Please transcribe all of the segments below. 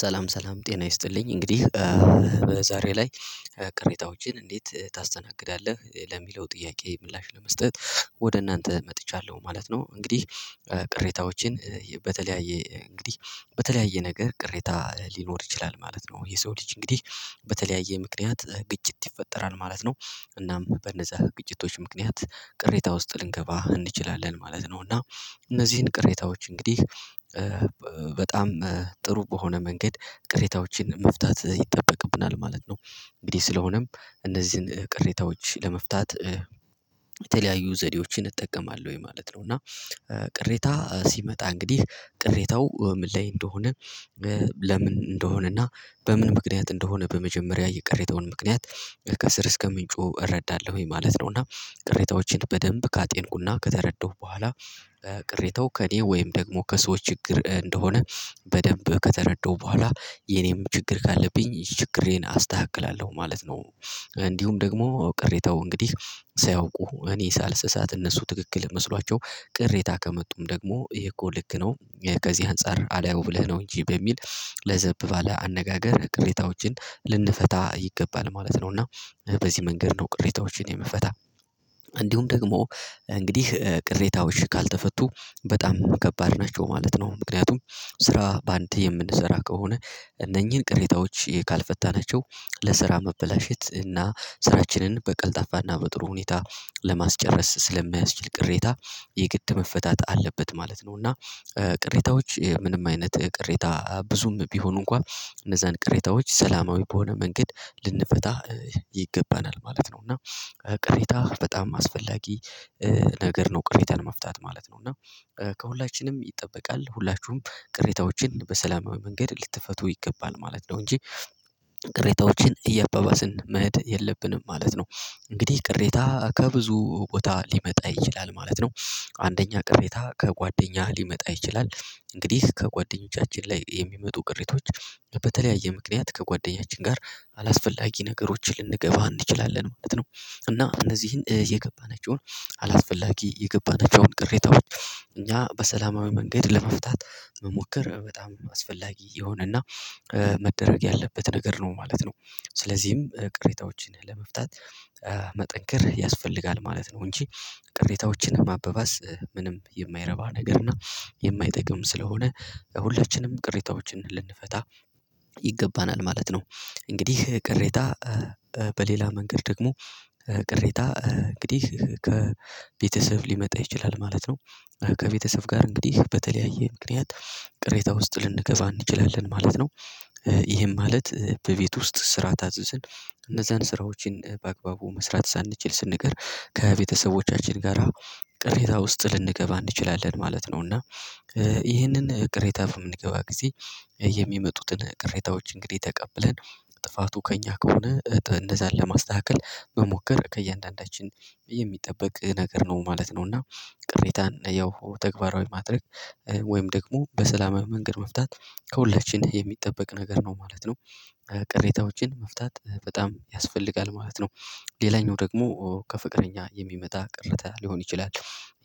ሰላም ሰላም ጤና ይስጥልኝ እንግዲህ ዛሬ ላይ ቅሬታዎችን እንዴት ታስተናግዳለህ ለሚለው ጥያቄ ምላሽ ለመስጠት ወደ እናንተ መጥቻለሁ ማለት ነው። እንግዲህ ቅሬታዎችን በተለያየ እንግዲህ በተለያየ ነገር ቅሬታ ሊኖር ይችላል ማለት ነው። የሰው ልጅ እንግዲህ በተለያየ ምክንያት ግጭት ይፈጠራል ማለት ነው። እናም በነዛ ግጭቶች ምክንያት ቅሬታ ውስጥ ልንገባ እንችላለን ማለት ነው። እና እነዚህን ቅሬታዎች እንግዲህ በጣም ጥሩ በሆነ መንገድ ቅሬታዎችን መፍታት ይጠበቅብናል ማለት ነው። እንግዲህ ስለሆነም እነዚህን ቅሬታዎች ለመፍታት የተለያዩ ዘዴዎችን እጠቀማለሁኝ ማለት ነው። እና ቅሬታ ሲመጣ እንግዲህ ቅሬታው ምን ላይ እንደሆነ ለምን እንደሆነ እና በምን ምክንያት እንደሆነ በመጀመሪያ የቀረበውን ምክንያት ከስር እስከ ምንጩ እረዳለሁኝ ማለት ነው። እና ቅሬታዎችን በደንብ ካጤንኩና ከተረዳሁ በኋላ ቅሬታው ከእኔ ወይም ደግሞ ከሰዎች ችግር እንደሆነ በደንብ ከተረዳሁ በኋላ የኔም ችግር ካለብኝ ችግሬን አስተካክላለሁ ማለት ነው። እንዲሁም ደግሞ ቅሬታው እንግዲህ ሳያውቁ እኔ ሳልስሳት እነሱ ትክክል መስሏቸው ቅሬታ ከመጡም ደግሞ ይሄ እኮ ልክ ከዚህ አንፃር አዳው ብለህ ነው እንጂ በሚል ለዘብ ባለ አነጋገር ቅሬታዎችን ልንፈታ ይገባል ማለት ነው። እና በዚህ መንገድ ነው ቅሬታዎችን የምፈታ። እንዲሁም ደግሞ እንግዲህ ቅሬታዎች ካልተፈቱ በጣም ከባድ ናቸው ማለት ነው። ምክንያቱም ስራ በአንድ የምንሰራ ከሆነ እነኚህን ቅሬታዎች ካልፈታናቸው ለስራ መበላሸት እና ስራችንን በቀልጣፋና በጥሩ ሁኔታ ለማስጨረስ ስለማያስችል ቅሬታ የግድ መፈታት አለበት ማለት ነው። እና ቅሬታዎች ምንም አይነት ቅሬታ ብዙም ቢሆኑ እንኳን እነዛን ቅሬታዎች ሰላማዊ በሆነ መንገድ ልንፈታ ይገባናል ማለት ነው። እና ቅሬታ በጣም አስፈላጊ ነገር ነው ቅሬታን መፍታት ማለት ነው። እና ከሁላችንም ይጠበቃል ሁላችሁም ቅሬታዎችን በሰላማዊ መንገድ ልትፈቱ ይገባል ማለት ነው። እንጂ ቅሬታዎችን እያባባስን መሄድ የለብንም ማለት ነው። እንግዲህ ቅሬታ ከብዙ ቦታ ሊመጣ ይችላል ማለት ነው። አንደኛ ቅሬታ ከጓደኛ ሊመጣ ይችላል እንግዲህ ከጓደኞቻችን ላይ የሚመጡ ቅሬቶች በተለያየ ምክንያት ከጓደኛችን ጋር አላስፈላጊ ነገሮችን ልንገባ እንችላለን ማለት ነው። እና እነዚህን የገባናችውን አላስፈላጊ የገባናችውን ቅሬታዎች እኛ በሰላማዊ መንገድ ለመፍታት መሞከር በጣም አስፈላጊ የሆነና መደረግ ያለበት ነገር ነው ማለት ነው። ስለዚህም ቅሬታዎችን ለመፍታት መጠንከር ያስፈልጋል ማለት ነው። እንጂ ቅሬታዎችን ማበባስ ምንም የማይረባ ነገር እና የማይጠቅም ስለሆነ ሁለችንም ቅሬታዎችን ልንፈታ ይገባናል ማለት ነው። እንግዲህ ቅሬታ በሌላ መንገድ ደግሞ ቅሬታ እንግዲህ ከቤተሰብ ሊመጣ ይችላል ማለት ነው። ከቤተሰብ ጋር እንግዲህ በተለያየ ምክንያት ቅሬታ ውስጥ ልንገባ እንችላለን ማለት ነው። ይሄም ማለት በቤት ውስጥ ስራ ታዝዝን እነዛን ስራዎችን በአግባቡ መስራት ሳንችል ስንቀር ከቤተሰቦቻችን ጋራ ቅሬታ ውስጥ ልንገባ እንችላለን ማለት ነው እና ይህንን ቅሬታ በምንገባ ጊዜ የሚመጡትን ቅሬታዎች እንግዲህ ተቀብለን ጥፋቱ ከእኛ ከሆነ እነዛን ለማስተካከል መሞከር ከእያንዳንዳችን የሚጠበቅ ነገር ነው ማለት ነው። እና ቅሬታን ያው ተግባራዊ ማድረግ ወይም ደግሞ በሰላማዊ መንገድ መፍታት ከሁለችን የሚጠበቅ ነገር ነው ማለት ነው። ቅሬታዎችን መፍታት በጣም ያስፈልጋል ማለት ነው። ሌላኛው ደግሞ ከፍቅረኛ የሚመጣ ቅሬታ ሊሆን ይችላል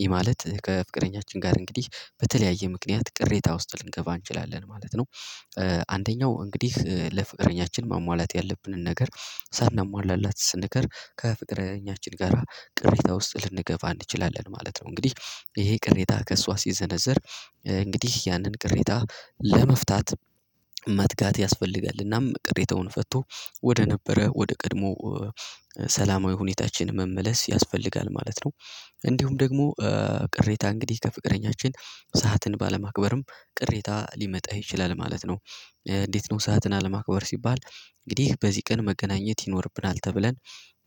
ይህ ማለት ከፍቅረኛችን ጋር እንግዲህ በተለያየ ምክንያት ቅሬታ ውስጥ ልንገባ እንችላለን ማለት ነው። አንደኛው እንግዲህ ለፍቅረኛችን ማሟላት ያለብንን ነገር ሳናሟላላት ስንቀር ከፍቅረኛችን ጋራ ቅሬታ ውስጥ ልንገባ እንችላለን ማለት ነው። እንግዲህ ይሄ ቅሬታ ከእሷ ሲዘነዘር እንግዲህ ያንን ቅሬታ ለመፍታት ያስፈልጋል እናም ቅሬታውን ፈቶ ወደ ነበረ ወደ ቀድሞ ሰላማዊ ሁኔታችን መመለስ ያስፈልጋል ማለት ነው። እንዲሁም ደግሞ ቅሬታ እንግዲህ ከፍቅረኛችን ሰዓትን ባለማክበርም ቅሬታ ሊመጣ ይችላል ማለት ነው። እንዴት ነው ሰዓትን አለማክበር ሲባል እንግዲህ በዚህ ቀን መገናኘት ይኖርብናል ተብለን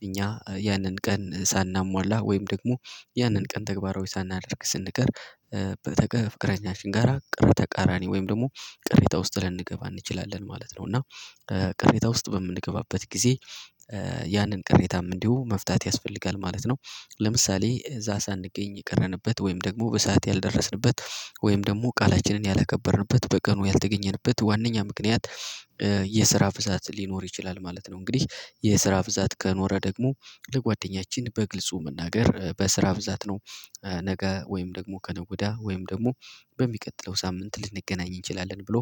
እኛ ያንን ቀን ሳናሟላ ወይም ደግሞ ያንን ቀን ተግባራዊ ሳናደርግ ስንቀር። ፍቅረኛችን ጋራ ቀረ ተቃራኒ ወይም ደግሞ ቅሬታ ውስጥ ልንገባ እንችላለን ማለት ነው። እና ቅሬታ ውስጥ በምንገባበት ጊዜ ያንን ቅሬታም እንዲሁ መፍታት ያስፈልጋል ማለት ነው። ለምሳሌ እዛ ሳንገኝ የቀረንበት ወይም ደግሞ በሰአት ያልደረስንበት ወይም ደግሞ ቃላችንን ያላከበርንበት በቀኑ ያልተገኘንበት ዋናኛ ምክንያት የስራ ብዛት ሊኖር ይችላል ማለት ነው። እንግዲህ የስራ ብዛት ከኖረ ደግሞ ለጓደኛችን በግልጹ መናገር በስራ ብዛት ነው ነገ ወይም ደግሞ ከነገ ወዲይ ወይም ደግሞ በሚቀጥለው ሳምንት ልንገናኝ እንችላለን ብሎ።